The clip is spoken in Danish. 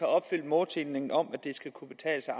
opfyldt målsætningen om at det skal kunne betale sig